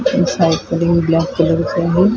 हि सायकल हि ब्लॅक कलरची आहे .